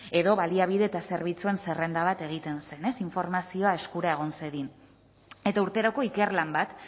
edo baliabide eta zerbitzuen zerrenda bat egiten zen informazioa eskura egon zedin eta urteroko ikerlan bat